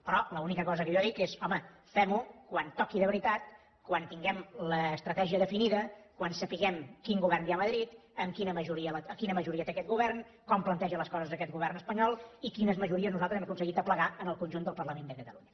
però l’única cosa que jo dic és home femho quan toqui de veritat quan tinguem l’estratègia definida quan sapiguem quin govern hi ha a madrid quina majoria té aquest govern com planteja les coses aquest govern espanyol i quines majories nosaltres hem aconseguit aplegar en el conjunt del parlament de catalunya